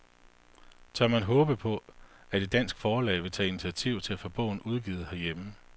Tør man håbe på, at et dansk forlag vil tage initiativ til at få bogen udgivet herhjemme?